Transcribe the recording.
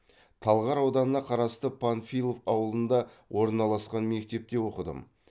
талғар ауданына қарасты панфилов ауылында орналасқан мектепте оқыдым